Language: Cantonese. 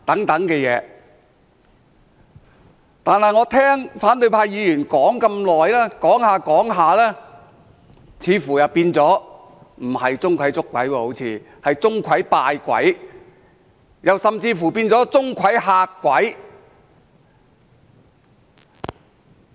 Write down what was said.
但是，我聽反對派議員說了這麼久，說着說着，似乎變成不是"鍾馗捉鬼"，而是"鍾馗拜鬼"，甚至是"鍾馗嚇鬼"。